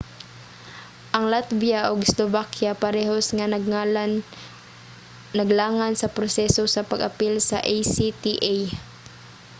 ang latvia ug slovakia parehas nga naglangan sa proseso sa pag-apil sa acta